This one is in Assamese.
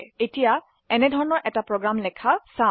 এতিয়া এনেধৰনৰ এটি প্ৰোগ্ৰাম লেখা চাও